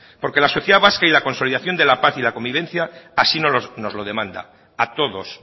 porque la sociedad vasca y la consolidación de la paz y la convivencia así nos lo demanda a todos